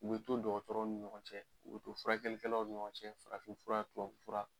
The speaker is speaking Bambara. O bɛ to dɔkɔtɔrɔw ni ɲɔgɔn cɛ, o bɛ to furakɛlikɛlaw ni ɲɔgɔn cɛ, farafinfura, tubabufura